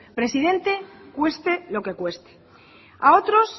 presidente cueste lo que cueste a otros